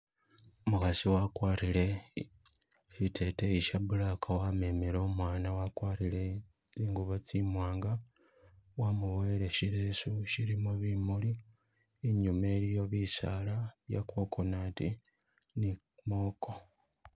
Umukasi wakwarile tsiteteyi shimali, wamemele umwana wakwarire zingubo tsimwanga, wamuboyele tsilesu tsilimo bimuli, inyuma eliyo bisaala bya coconut ni muwogo